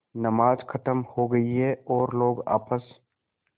नमाज खत्म हो गई है लोग आपस